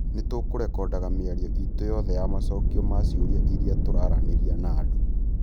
Nĩ tũkũrekondaga mĩario iitũ yothe ya macokio ma ciũria ĩrĩa tũraaranĩria na andũ,